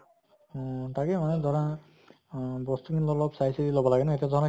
উম তাকে মানে ধৰা আহ বস্তু খিনি অলপ চাই চিতি লʼব লাগে ন। এতিয়া ধৰা